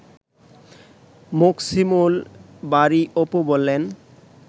মোকসিমুল বারী অপু বলেন